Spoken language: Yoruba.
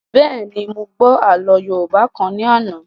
Bẹ́ẹ̀ni, mo gbọ́ àlọ́ yóòbá kan ní àná